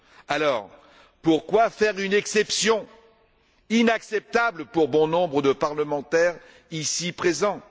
Alors pourquoi faire une exception, inacceptable pour bon nombre de parlementaires ici présents?